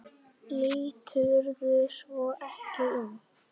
Líturðu svo ekki inn?